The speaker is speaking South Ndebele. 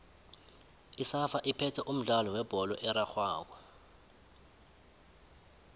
isafa iphethe umdlalo webholo erarhwako